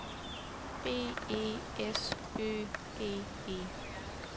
B E S Ø G E